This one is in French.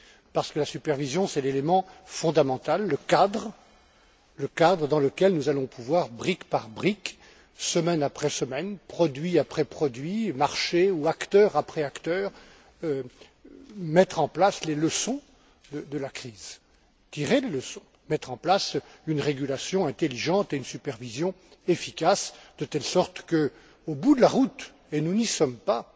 Parce que la supervision c'est l'élément fondamental, le cadre dans lequel nous allons pouvoir, brique par brique, semaine après semaine, produit après produit, marché après marché ou acteur après acteur, tirer les leçons de la crise, mettre en place une régulation intelligente et une supervision efficace, de telle sorte que, au bout de la route et nous n'y sommes pas